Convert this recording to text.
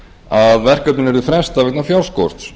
að verkefninu yrði frestað vegna fjárskorts